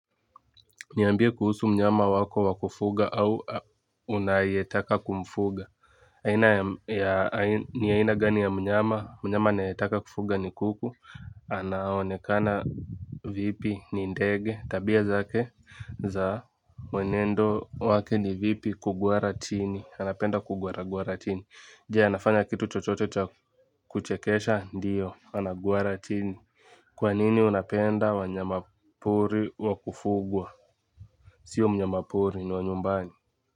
Niambie kuhusu mnyama wako wa kufuga au unayetaka kumfuga. Aina ya ni aina gani ya mnyama, mnyama ninayetaka kufuga ni kuku anaonekana vipi, ni ndege tabia zake za mwenendo wake ni vipi? Kugwara chini anapenda kugwaragwara chini. Je, anafanya kitu chochote cha kuchekesha? Ndiyo anagwara chini. Kwa nini unapenda wanyama pori wakufugwa? Sio mnyama pori, ni wa nyumbani.